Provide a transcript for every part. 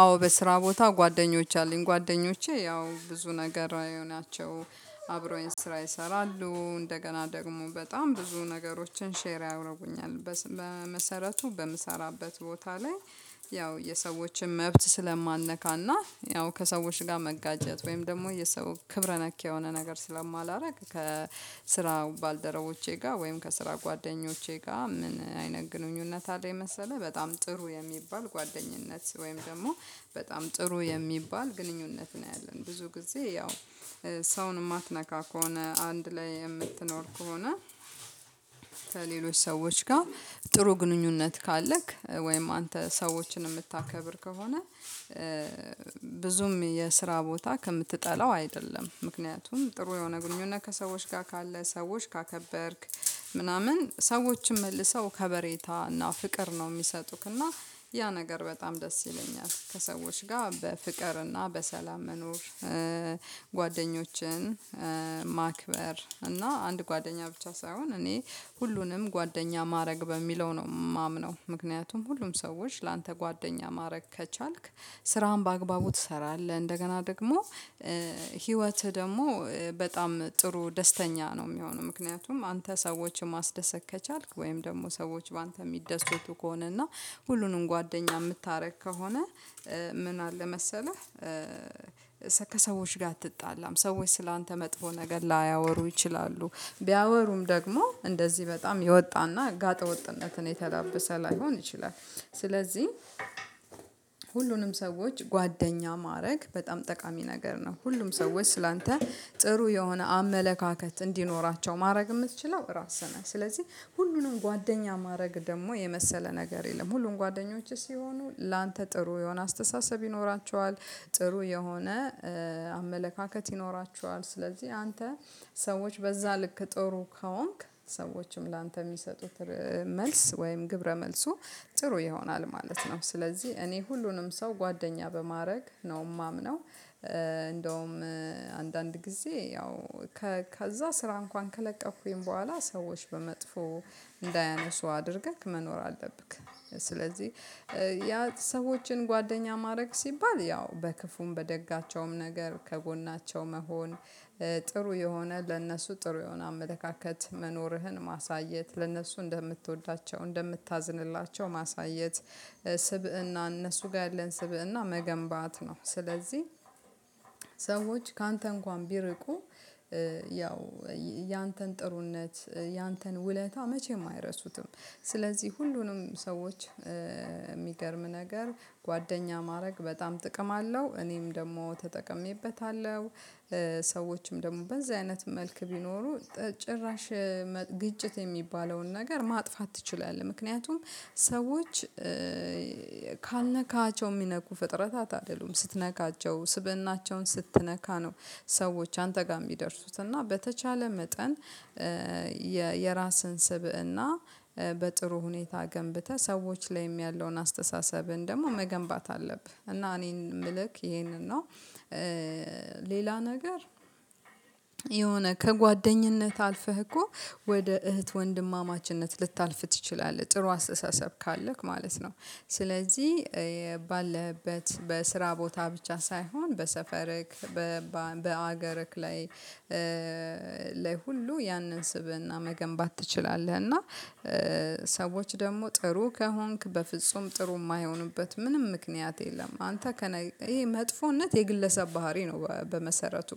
አዎ በስራ ቦታ ጓደኞች አሉኝ ጓደኞቼ ያው ብዙ ነገር ናቸው። አብረውኝ ስራ ይሰራሉ እንደገና ደግሞ በጣም ብዙ ነገሮችን ሼር ያረጉኛል። በመሰረቱ በምሰራበት ቦታ ላይ። ያው የሰዎችን መብት ስለማልነካ እና ያው ከሰዎች ጋር መጋጨት ወይም ደግሞ የሰው ክብረ ነክ የሆነ ነገር ስለማላረግ ከስራ ባልደረቦቼ ጋር ወይም ከስራ ጓደኞቼ ጋር ምን አይነት ግንኙነት አለኝ? መሰለህ በጣም ጥሩ የሚባል ጓደኝነት ወይም ደግሞ በጣም ጥሩ የሚባል ግንኙነት ነው። ያለን ብዙ ጊዜ ያው ሰውን የማትነካ ከሆነ አንድ ላይ የምትኖር ከሆነ። ከሌሎች ሰዎች ጋር ጥሩ ግንኙነት ካለክ ወይም አንተ ሰዎችን የምታከብር ከሆነ። ብዙም የስራ ቦታ ከምትጠላው አይደለም። ምክንያቱም ጥሩ የሆነ ግንኙነት ከሰዎች ጋር ካለ ሰዎች ካከበርክ ምናምን ሰዎችም መልሰው ከበሬታ እና ፍቅር ነው የሚሰጡክ እና። ያ ነገር በጣም ደስ ይለኛል ከሰዎች ጋር በፍቅር እና በሰላም መኖር። ጓደኞችን ማክበር እና አንድ ጓደኛ ብቻ ሳይሆን እኔ ሁሉንም ጓደኛ ማድረግ በሚለው ነው የማምነው። ምክንያቱም ሁሉም ሰዎች ላንተ ጓደኛ ማድረግ ከቻልክ ስራህን በአግባቡ ትሰራለህ። እንደገና ደግሞ ህይወትህ ደግሞ በጣም ጥሩ ደስተኛ ነው የሚሆነው። ምክንያቱም አንተ ሰዎችን ማስደሰት ከቻልክ ወይም ደግሞ ሰዎች በአንተ የሚደስቱ ከሆነ እና ሁሉንም ጓደኛ የምታደርግ ከሆነ። ምን አለ መሰለህ? ከሰዎች ጋር አትጣላም ሰዎች ስላንተ መጥፎ ነገር ላያወሩ ይችላሉ። ቢያወሩም ደግሞ እንደዚህ በጣም የወጣ እና ጋጠ ወጥነትን የተላበሰ ላይሆን ይችላል። ስለዚህ ሁሉንም ሰዎች ጓደኛ ማድረግ በጣም ጠቃሚ ነገር ነው። ሁሉም ሰዎች ስላንተ ጥሩ የሆነ አመለካከት እንዲኖራቸው ማድረግ የምትችለው ራስህ ነህ። ስለዚህ ሁሉንም ጓደኛ ማድረግ ደግሞ የመሰለ ነገር የለም። ሁሉም ጓደኞችህ ሲሆኑ ላንተ ጥሩ የሆነ አስተሳሰብ ይኖራቸዋል። ጥሩ የሆነ አመለካከት ይኖራቸዋል። ስለዚህ አንተ ሰዎች በዛ ልክ ጥሩ ከሆንክ ሰዎችም ላንተ የሚሰጡት መልስ ወይም ግብረ መልሱ ጥሩ ይሆናል ማለት ነው። ስለዚህ እኔ ሁሉንም ሰው ጓደኛ በማድረግ ነው የማምነው። እንደውም አንዳንድ ጊዜ ያው ከዛ ስራ እንኳን ከለቀቅኩኝ በኋላ ሰዎች በመጥፎ እንዳያነሱ አድርገህ መኖር አለብህ። ስለዚህ ያ ሰዎችን ጓደኛ ማድረግ ሲባል ያው በክፉም በደጋቸውም ነገር ከጎናቸው መሆን። ጥሩ የሆነ ለእነሱ ጥሩ የሆነ አመለካከት መኖርህን ማሳየት ለእነሱ እንደምትወዳቸው እንደምታዝንላቸው ማሳየት። ስብእና እነሱ ጋር ያለን ስብእና መገንባት ነው። ስለዚህ ሰዎች ካንተ እንኳን ቢርቁ። ያው ያንተን ጥሩነት ያንተን ውለታ መቼም አይረሱትም። ስለዚህ ሁሉንም ሰዎች የሚገርም ነገር ጓደኛ ማድረግ በጣም ጥቅም አለው እኔም ደግሞ ተጠቅሜበታለሁ። ሰዎችም ደግሞ በዚህ አይነት መልክ ቢኖሩ ጭራሽ ግጭት የሚባለውን ነገር ማጥፋት ትችላለህ። ምክንያቱም ሰዎች ካልነካሃቸው የሚነኩ ፍጥረታት አይደሉም ስትነካቸው ስብእናቸውን ስትነካ ነው። ሰዎች አንተ ጋር የሚደርሱት እና በተቻለ መጠን። የራስን ስብእና በጥሩ ሁኔታ ገንብተህ ሰዎች ላይም ያለውን አስተሳሰብህን ደግሞ መገንባት አለብህ። እና እኔም ምልክ ይሄንን ነው። ሌላ ነገር የሆነ ከጓደኝነት አልፈህ እኮ ወደ እህት ወንድማማችነት ልታልፍ ትችላለህ ጥሩ አስተሳሰብ ካለህ ማለት ነው። ስለዚህ ባለህበት በስራ ቦታ ብቻ ሳይሆን በሰፈርክ በሀገርክ ላይ። ላይ ሁሉ ያንን ስብእና መገንባት ትችላለህ። እና ሰዎች ደግሞ ጥሩ ከሆንክ በፍጹም ጥሩ የማይሆኑበት ምንም ምክንያት የለም። አንተ ይሄ መጥፎነት የግለሰብ ባህሪ ነው። በመሰረቱ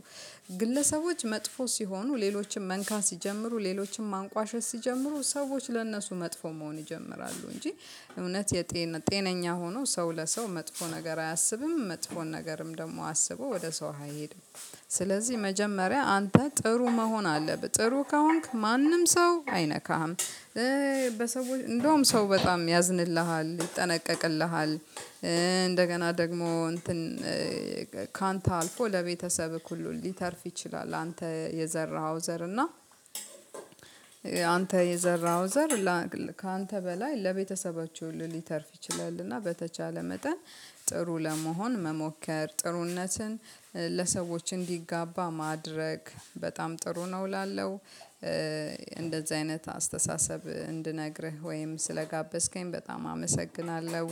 ግለሰቦች መጥፎ ሲሆኑ ሌሎችን መንካት ሲጀምሩ ሌሎችን ማንቋሸሽ ሲጀምሩ ሰዎች ለእነሱ መጥፎ መሆን ይጀምራሉ እንጂ። የጤነኛ ሆኖ ሰው ለሰው መጥፎ ነገር አያስብም። መጥፎን ነገርም ደግሞ አስቦ ወደ ሰው አይሄድም። ስለዚህ መጀመሪያ አንተ ጥሩ መሆን አለብህ ጥሩ ከሆንክ ማንም ሰው አይነካህም። በሰዎች እንደውም ሰው በጣም ያዝንልሃል ይጠነቀቅልሃል። እንደገና ደግሞ እንትን ካንተ አልፎ ለቤተሰብህ ሁሉ ሊተርፍ ይችላል። አንተ የዘራኸው ዘር እና አንተ የዘራኸው ዘር ካንተ በላይ ለቤተሰቦችህ ሁሉ ሊተርፍ ይችላል። እና በተቻለ መጠን ጥሩ ለመሆን መሞከር ጥሩነትን ለሰዎች እንዲጋባ ማድረግ በጣም ጥሩ ነው። እላለሁ። እንደዚህ አይነት አስተሳሰብ እንድነግርህ ወይም ስለጋበዝከኝ በጣም አመሰግናለሁ።